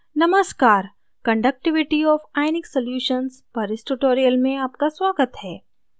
नमस्कार conductivity of ionic solutions पर इस tutorial में आपका स्वागत है